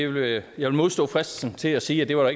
vil modstå fristelsen til at sige at det var